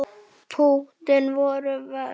Púttin voru verst.